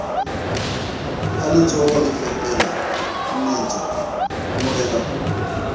ha letsohole fepela mmetso morenao